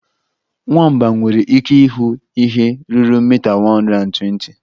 Nwamba nwere ike ịhụ ihe ruru mita 120.